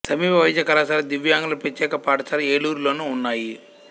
సమీప వైద్య కళాశాల దివ్యాంగుల ప్రత్యేక పాఠశాల ఏలూరులోను ఉన్నాయి